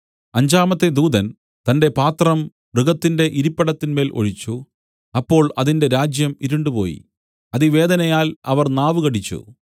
അഞ്ചാമത്തെ ദൂതൻ തന്റെ പാത്രം മൃഗത്തിന്റെ ഇരിപ്പിടത്തിന്മേൽ ഒഴിച്ചു അപ്പോൾ അതിന്റെ രാജ്യം ഇരുണ്ടുപോയി അതിവേദനയാൽ അവർ നാവ് കടിച്ചു